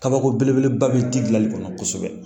Kabako belebeleba bɛ di dilanli kɔnɔ kosɛbɛ